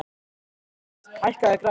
Ingibert, hækkaðu í græjunum.